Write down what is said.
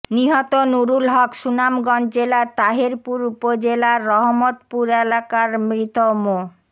নিহত নুরুল হক সুনামগঞ্জ জেলার তাহেরপুর উপজেলার রহমতপুর এলাকার মৃত মো